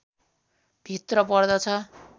भित्र पर्दछ